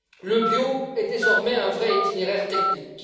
Le bio est désormais un vrai itinéraire technique.